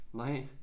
Nej